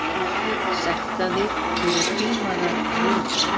Sektaðir fyrir hrímaðar rúður